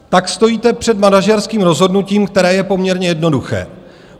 Tak stojíte před manažerským rozhodnutím, které je poměrně jednoduché.